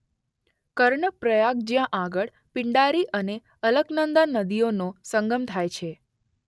કર્ણ પ્રયાગ જ્યાં આગળ પિંડારી અને અલકનંદા નદીઓનો સંગમ થાય છે.